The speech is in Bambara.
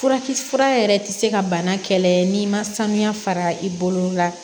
Furakisɛ fura yɛrɛ ti se ka bana kɛlɛ n'i ma sanuya fara i bolo la